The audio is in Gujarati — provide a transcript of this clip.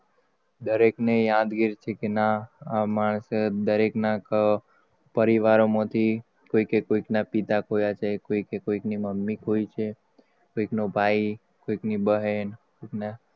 દરેક ને યાદગીરી કે ના માણસ દરેક ના પરિવારોમાંથી કોઈક ના કોઈક પિતા ખોયા છે કોઈક ની મમ્મી ખોઈ છે. કોઈક નો ભાઈ કોઈક ની બહેન કોઈક ના